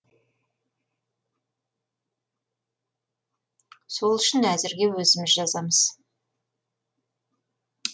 сол үшін әзірге өзіміз жазамыз